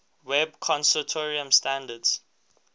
web consortium standards